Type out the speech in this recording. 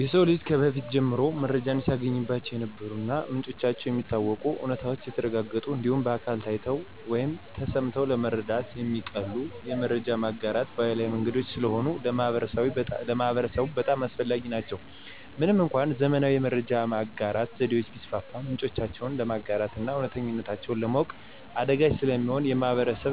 የሰው ልጅ ከበፊት ጀምሮ መረጃን ሲያገኝባቸው የነበሩ እና ምንጫቸው የሚታወቅ፣ እውነተኝነታቸው የተረጋገጠ እንዲሁም በአካል ታይተው ወይም ተሰምተው ለመረዳት የሚቀሉ የመረጃ ማጋራት ባህላዊ መንገዶች ስለሆኑ ለማህበረሰቡ በጣም አስፈላጊ ናቸው። ምንም እንኳን ዘመናዊ የመረጃ ማጋራት ዘዴዎች ቢስፋፉም ምንጮቹን ለማረጋገጥና እውነተኝነታቸውን ለማወቅ አዳጋች ስለሚሆን የማህበረሰብ